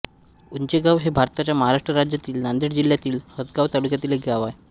उंचेगाव हे भारताच्या महाराष्ट्र राज्यातील नांदेड जिल्ह्यातील हदगाव तालुक्यातील एक गाव आहे